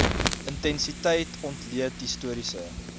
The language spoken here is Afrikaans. intensiteit ontleed historiese